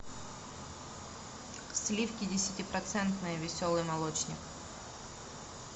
сливки десятипроцентные веселый молочник